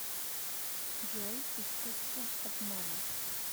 джой искуство обмана